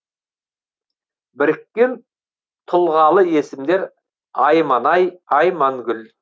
біріккен тұлғалы есімдер айманай аймангүл